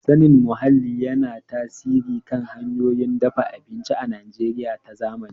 Sanin muhalli yana tasiri kan hanyoyin dafa abinci a Najeriya ta zamani.